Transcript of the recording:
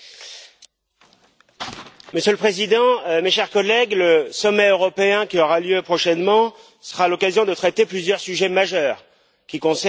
Monsieur le Président, mes chers collègues, le sommet européen qui aura lieu prochainement sera l'occasion de traiter plusieurs sujets majeurs qui concernent les nations de l'Union européenne.